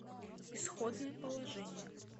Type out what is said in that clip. исходное положение